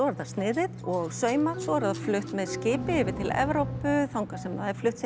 er það sniðið og saumað svo er það flutt með skipi yfir til Evrópu þangað sem það er flutt